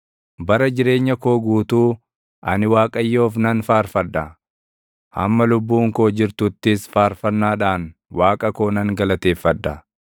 Bara jireenya koo guutuu ani Waaqayyoof nan faarfadha; hamma lubbuun koo jirtuttis faarfannaadhaan // Waaqa koo nan galateeffadha.